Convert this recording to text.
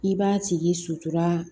I b'a tigi sutura